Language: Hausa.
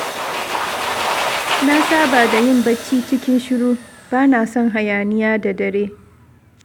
Na saba da yin bacci cikin shiru, ba na son hayaniya da dare.